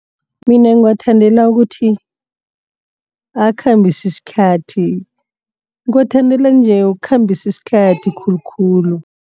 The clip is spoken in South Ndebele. Mina ngiwathandela ukuthi akhambisa isikhathi. Ngiwathandela nje ukukhambisa isikhathi khulukhulu.